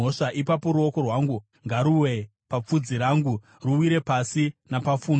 ipapo ruoko rwangu ngaruwe papfudzi rangu, ruwire pasi napafundo.